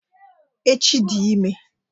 Echi di ime